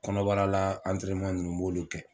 Kɔnɔbarala ninnu n b'olu kɛ.